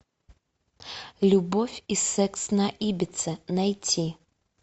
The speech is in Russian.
любовь и секс на ибице найти